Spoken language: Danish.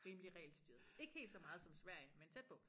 Rimelig regelstyret ik helt så meget som Sverige men tæt på